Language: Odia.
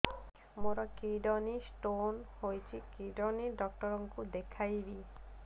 ମୋର କିଡନୀ ସ୍ଟୋନ୍ ହେଇଛି କିଡନୀ ଡକ୍ଟର କୁ ଦେଖାଇବି